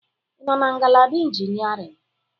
Ị nọ na ngalaba Engineering?